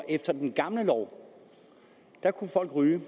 efter den gamle lov kunne folk ryge